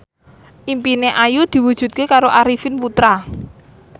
impine Ayu diwujudke karo Arifin Putra